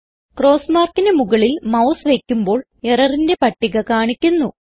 cross markന് മുകളിൽ mouse വയ്ക്കുമ്പോൾ എററിന്റെ പട്ടിക കാണിക്കുന്നു